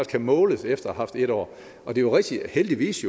kan måles efter en år det er rigtigt heldigvis